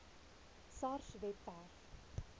sars webwerf